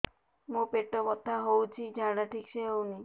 ମୋ ପେଟ ବଥା ହୋଉଛି ଝାଡା ଠିକ ସେ ହେଉନି